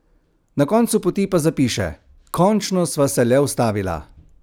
Na koncu poti pa zapiše: "Končno sva se le ustavila.